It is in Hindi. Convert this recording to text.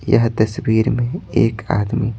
यह तस्वीर में एक आदमी--